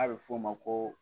A bɛ f'ɔ o ma ko